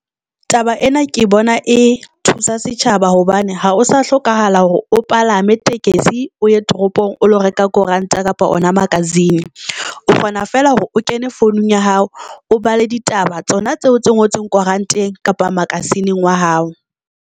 Taba ena ke bona e thusa setjhaba hobane ha o sa hlokahala hore o palame tekesi o ye toropong o lo reka koranta kapa ona magazine o kgona fela hore o kene founung ya hao, O bala ditaba tsona tseo tse ngotsweng koranteng kapa magazine wa hao.